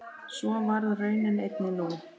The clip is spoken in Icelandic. Svo varð raunin einnig nú.